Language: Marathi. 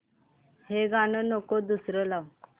हे गाणं नको दुसरं लाव